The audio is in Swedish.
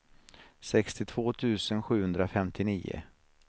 sextiotvå tusen sjuhundrafemtionio